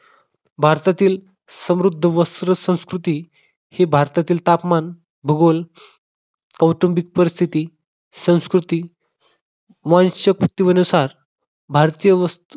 भारतातील समृद्ध वस्त्रसंस्कृती ही भारतातील तापमान भूगोल कौटुंबिक परिस्थिती संस्कृती भारतीय वस्त्र